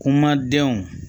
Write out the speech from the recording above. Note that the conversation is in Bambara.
Kuma denw